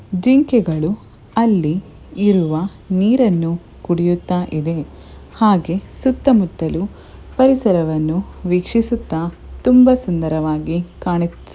ಜಿಂಕೆಗಳು ಅಲ್ಲಿ ಇರುವ ನೀರನ್ನು ಕುಡಿಯುತ್ತಾಯಿದೆ ಹಾಗೆ ಸುತ್ತ ಮುತ್ತಲು ಪರಿಸರವನ್ನು ವೀಕ್ಷಿಸುತ್ತಾ ತುಂಬಾ ಸುಂದರವಾಗಿ ಕಾಣಿ --